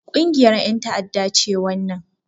Ƙungiyar ƴan ta'adda ce wannan